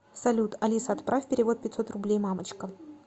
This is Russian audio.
салют алиса отправь перевод пятьсот рублей мамочка